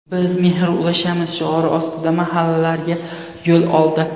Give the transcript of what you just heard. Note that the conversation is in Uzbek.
Biz mehr ulashamiz!” shiori ostida mahallalarga yo‘l oldi.